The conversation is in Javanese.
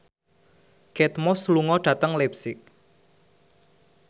Kate Moss lunga dhateng leipzig